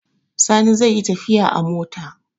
Sani zai yi tafiya a mota.